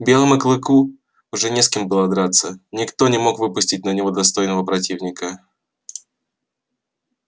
белому клыку уже не с кем было драться никто не мог выпустить на него достойного противника